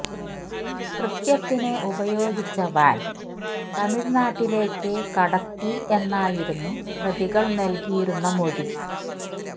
കൃത്യത്തിന് ഉപയോഗിച്ച വാന് തമിഴ്നാട്ടിലേക്ക് കടത്തി എന്നായിരുന്നു പ്രതികള് നല്കിയിരുന്ന മൊഴി